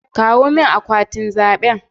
Kawo min akwatin zabe